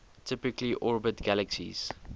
typically orbit galaxies